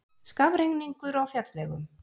Skafrenningur á fjallvegum